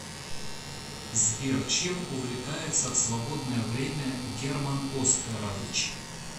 сбер чем увлекается в свободное время герман оскарович